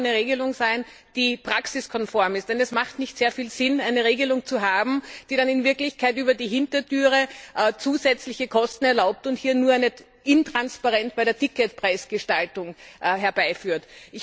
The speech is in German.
Es muss aber auch eine Regelung sein, die praxiskonform ist, denn es macht nicht sehr viel Sinn, eine Regelung zu haben, die dann in Wirklichkeit über die Hintertüre zusätzliche Kosten erlaubt und nur eine Intransparenz bei der Ticketpreisgestaltung herbeiführt.